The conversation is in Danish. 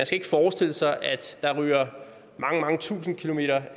skal forestille sig at der ryger mange mange tusind kilometer